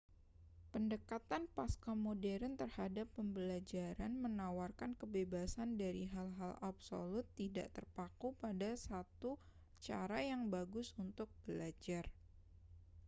pendekatan pascamodern terhadap pembelajaran menawarkan kebebasan dari hal-hal absolut tidak terpaku pada satu cara yang bagus untuk belajar